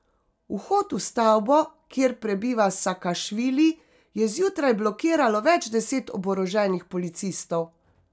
Vhod v stavbo, kjer prebiva Sakašvili, je zjutraj blokiralo več deset oboroženih policistov.